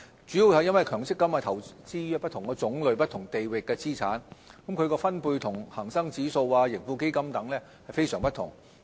主要是因為強積金投資於不同種類及不同地域的資產，它的分配與恆生指數、盈富基金等非常不同。